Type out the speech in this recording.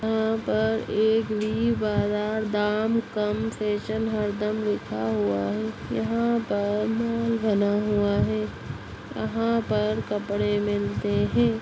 यहां पर एक वी बाजार दाम कम फैशन हर दम लिखा हुआ है यहां पर मॉल बना हुआ है यहां पर कपड़े मिलते हैं।